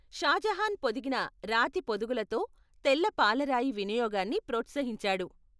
షా జహాన్ పొదిగిన రాతి పొదుగులతో తెల్ల పాలరాయి వినియోగాన్ని ప్రోత్సహించాడు.